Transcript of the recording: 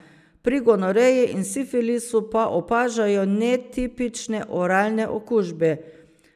Pri gonoreji in sifilisu pa opažajo netipične oralne okužbe.